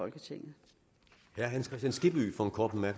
i regeringen og hvor man